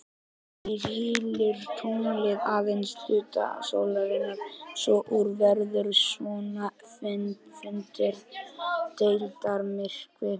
Því hylur tunglið aðeins hluta sólarinnar svo úr verður svonefndur deildarmyrkvi.